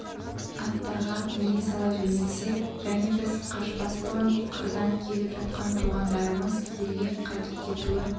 аттарға міне сала жөнелсек және біз қашпас бұрын қырдан келіп жатқан туғандарымыз елге қайтып кетуі